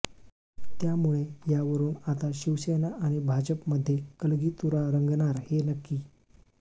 त्यामुळे यावरुन आता शिवसेना आणि भाजपमध्ये कलगीतुरा रंगणार हे नक्की